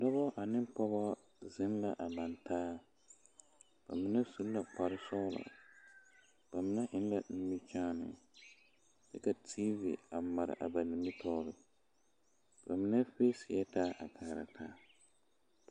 Dɔbɔ ane pɔgeba zeŋ la a laŋ taa ba mine su la kparre sɔglɔ ba mine eŋ la nimikyaani kyɛ ka tiivi a mare a ba mine tɔɔreŋ ba mine feeseɛ taa.